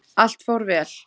Allt fór vel.